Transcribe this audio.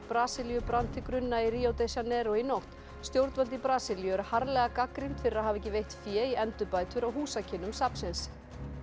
Brasilíu brann til grunna í Rio de Janeiro í nótt stjórnvöld í Brasilíu eru harðlega gagnrýnd fyrir að hafa ekki veitt fé í endurbætur á húsakynnum safnsins